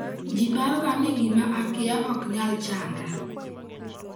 "Ji paroga ni 'gima akia ok nyal chanda'.